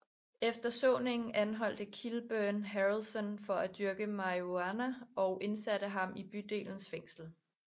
Efter såningen anholdte Kilburn Harrelson for at dyrke marihuana og indsatte ham i bydelens fængsel